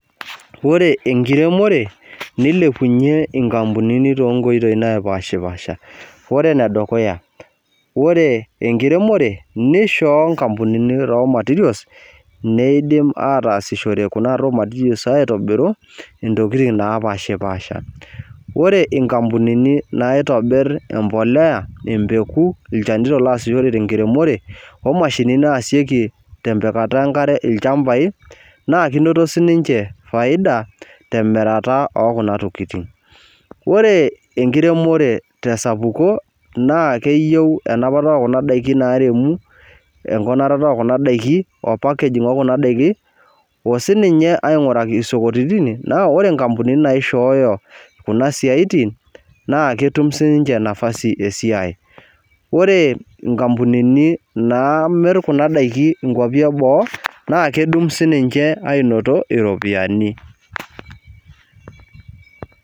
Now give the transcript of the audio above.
Ore enkiremore nilepunye nkampunini tonkoitoi napashipaasha ore enedukuya ore enkiremore nishoo nkampunini raw materials nidim ataasishore kuna raw materials aitobiru ntokitin napashipasha ore nkampunini naitobir embolea, embeku, ilchanito loret enkiremore omashinini naasieki tempikata enkare lchambai na kinoto ninche faida temiratae ekuna tokitin ore enkiremore y sapuko na. Keyieu enapata okuna dakin naremu osininye peinguraki sokonini na ore nkampunini naishooyo kuna siatini naketum sinye nafasi esiai ore nkampunini namir kunabdakini nkwapi e boo na ketum sinche ainoto iropiyiani.